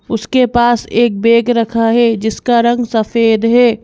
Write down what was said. उसके पास एक बैग रखा है जिसका रंग सफेद है।